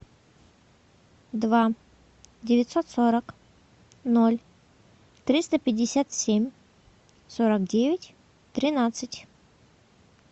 два девятьсот сорок ноль триста пятьдесят семь сорок девять тринадцать